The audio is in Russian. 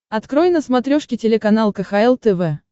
открой на смотрешке телеканал кхл тв